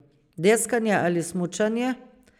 Deskanje ali smučanje?